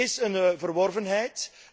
Dit is een verworvenheid.